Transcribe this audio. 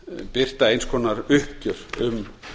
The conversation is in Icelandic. birta eins konar uppgjör um